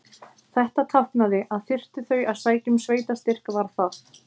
Þetta táknaði, að þyrftu þau að sækja um sveitarstyrk var það